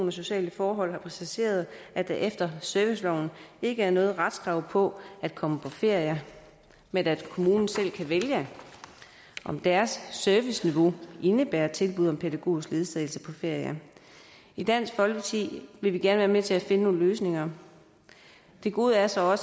og sociale forhold har præciseret at der efter serviceloven ikke er noget retskrav på at komme på ferie men at kommunen selv kan vælge om deres serviceniveau indebærer tilbud om pædagogisk ledsagelse på ferie i dansk folkeparti vil vi gerne være med til at finde nogle løsninger det gode er så at